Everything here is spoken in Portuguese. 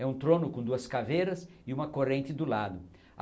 É um trono com duas caveiras e uma corrente do lado.